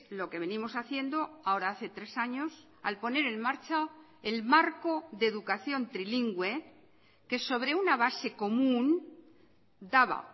lo que venimos haciendo ahora hace tres años al poner en marcha el marco de educación trilingüe que sobre una base común daba